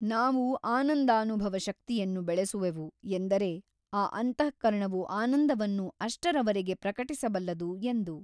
ನಾವು ಆನಂದಾನುಭವ ಶಕ್ತಿಯನ್ನು ಬೆಳೆಸುವೆವು ಎಂದರೆ ಆ ಅಂತಃಕರಣವು ಆನಂದವನ್ನು ಅಷ್ಟರವರೆಗೆ ಪ್ರಕಟಿಸಬಲ್ಲದು ಎಂದು.